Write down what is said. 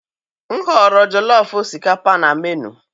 M họọrọ jollof osikapa na menuu.